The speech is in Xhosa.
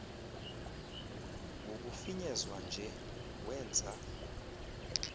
ngokufinyezwa nje wenza